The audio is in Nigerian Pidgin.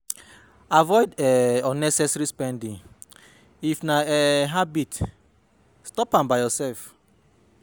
Avoid um unnessesary spending if na um habit stop am by yourself